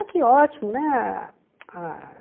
Ah, que ótimo, né? Ah